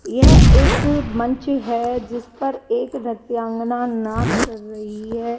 यह एक मंच है जिस पर एक नृत्यांगना नाच कर रही है।